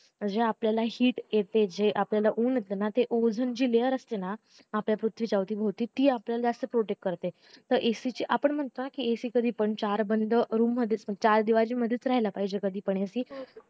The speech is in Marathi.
जे आपल्याला heat येते जे आपल्याला ऊन येताना ते आपल्याला ozen ची layer असते ना आपल्या पृथ्वीच्या अवती भवती ती आपल्याला protect करते तर ac ची आपण म्हणता ac कधीपण चार बंद रूम मधेच चार दीवर मधेच राहायला पाहिजे